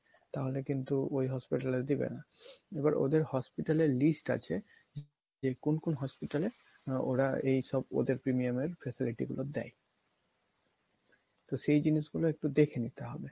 তাহলে কিন্তু ওই hospital এ আর দিবে না। এবার ওদের hospital এর list আছে যে কোন কোন hospital এ ওরা এইসব ওদের premium এর facility গুলা দেয়। তো সেই জিনিসগুলা একটু দেখে নিতে হবে।